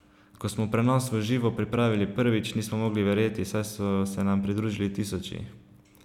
Ko smo prenos v živo pripravili prvič, nismo mogli verjeti, saj so se nam pridružili tisoči.